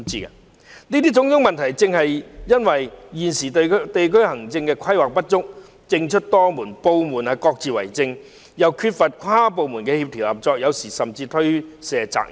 上述種種問題，正是因為現時地區行政規劃不足，政出多門，部門各自為政，又缺乏跨部門協調合作，有時甚至推卸責任。